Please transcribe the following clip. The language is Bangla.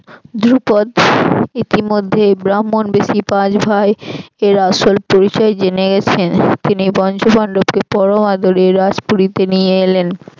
দ্রুপদ ইতিমধ্যে ব্রাহ্মণবেশি পাঁচ ভাই এর আসল পরিচয় জেনে গেছেন তিনি পঞ্চপান্ডবকে পরম আদরে রাজপুরিতে নিয়ে এলেন।